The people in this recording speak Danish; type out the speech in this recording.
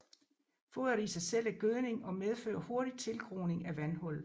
Foderet i sig selv er gødning og medfører hurtig tilgroning af vandhullet